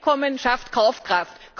Einkommen schafft Kaufkraft.